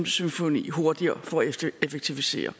symfoni hurtigere for at effektivisere